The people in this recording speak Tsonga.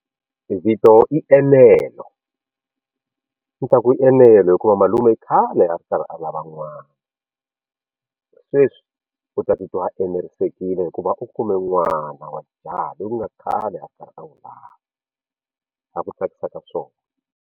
Vito i Enelo ni ta ku Enelo hikuva malume i khale a ri karhi a lava n'wana sweswi u ta titwa a enerisekile hikuva u kume n'wana wa jaha loyi ku nga khale a karhi a n'wi lava a ku tsakisa ka swona.